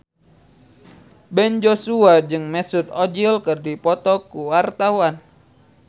Ben Joshua jeung Mesut Ozil keur dipoto ku wartawan